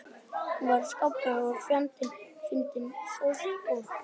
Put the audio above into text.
Hún var skarpgáfuð og fjandi fyndin, geðstór og handnett.